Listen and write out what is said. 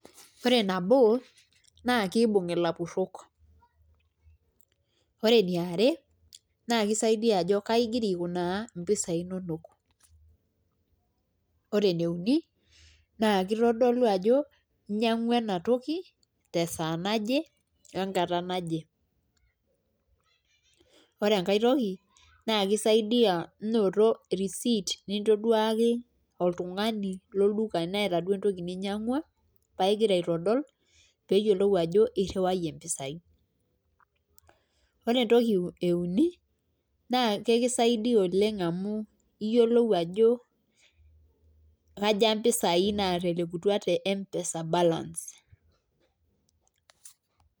Ore nabo naake iibung' ilapurok, ore eniare naake isaidia ajo kai igira aikunaa impisai inonok, ore ene uni naake itodolu ajo inyang'ua ena toki te saa naje we nkata naje. Ore enkae toki naake isaidia inoto receipt nintoduaki oltung'ani lolduka eneeta duo entoki ninyang'ua pae ing'ira aitodol peeyiolou ajo iriwayie impisai. Ore entoki e uni naa kekisaidia oleng' amu iyiolou ajo kaja mpesai naatelekutua te mpesa balance.